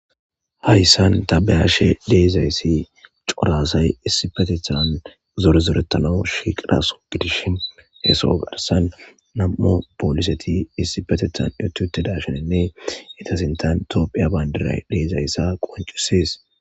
hayssan taa bayaashe de'izayssi cora asay issipetethan zore zoretano shiqqidaso gidishshin hee soo garssan nam''u pooliseti issipetethan utti uttidashshenene ita sintan tophphiya bandiray dizayssa qonccisees.